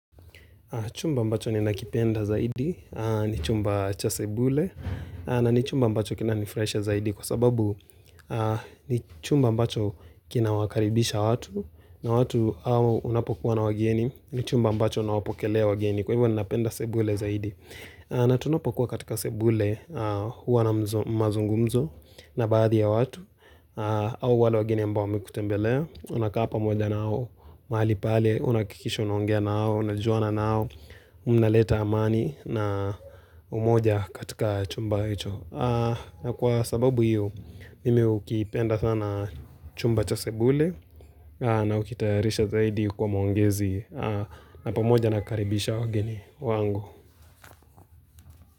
Chumba ambacho ni nakipenda zaidi, ni chumba cha sebule, na ni chumba ambacho kinani fraisha zaidi kwa sababu ni chumba ambacho kina wakaribisha watu, na watu au unapokuwa na wageni, ni chumba ambacho na wapokelea wageni kwa hivyo ni napenda sebule zaidi. Natunapo kuwa katika sebule huwa na mzo mazungumzo na baadhi ya watu au wale wageni ambao wamekutembelea Unakapa moja nao, mahali pale, unaakikisho unaongea nao, unajuana nao Mnaleta amani na umoja katika chumba hicho na kwa sababu hiyo, mimi ukipenda sana chumba cha sebule na hukitayarisha zaidi kwa maongezi na pamoja nakaribisha wageni wangu.